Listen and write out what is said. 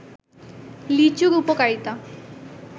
লিচুর উপকারিতা